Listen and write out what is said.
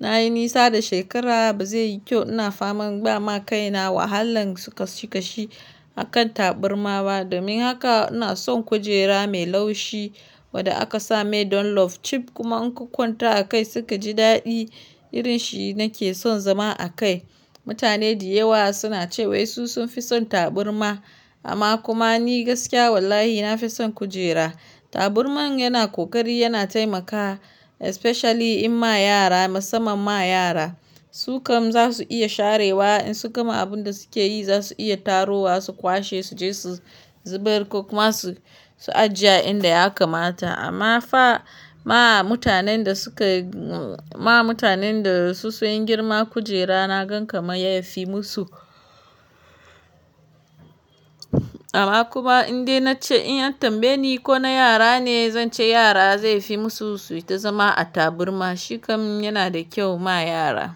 na yi nisa da shekara ba zai yi kyau ina faman ba ma kai na wahalan sukashi kashi a kan taburma ba. Domin haka ina son kujera mai laushi wanda aka same don love chip kuma in ka kwanta a kai suka ji daɗi irin shi nake son zama a kai. Mutane da yawa suna cewa su sun fi son taburma amma kuma ni gaskiya wallahi na fi son kujera. Taburma yana ƙoƙari yana taimakawa especially in ma yara musamman ma yara. Su kam za su iya sharewa in suka ma abun da suke yi za su iya tarowa su kwashe su je su zubar ko kuma su, su ajiye inda ya kamata. Amma fa ma mutanen da suka, ma mutanen da su sun girma kujera na gan kama yafi musu. Amma kuma indai nace in yi tambayi ko na yara ne? Zan ce yara zai fi musu su yi ta zama a taburma. Shi kam yana da kyau ma yara.